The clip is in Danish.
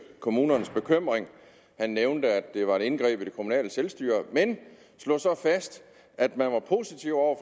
kommunernes bekymring han nævnte at det var et indgreb i det kommunale selvstyre men slog så fast at man var positiv over